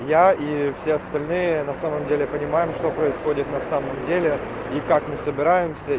я и все остальные на самом деле понимаем что происходит на самом деле и как мы собираемся